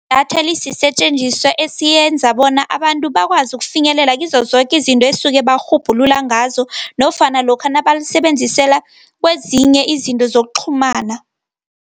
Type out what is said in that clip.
Idatha lisisetjenziswa esiyenza bona abantu bakwazi ukufinyelela kizo zoke izinto esuke barhubhulula ngazo nofana lokha nabalisebenzisela kwezinye izinto zokuqhumana.